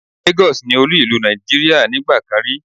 Lagos ni olú ìlú Nàìjíríà nígbà kan rí